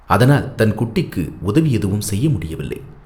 அதனால் தன் குட்டிக்கு உதவி எதுவும் செய்ய முடியவில்லை.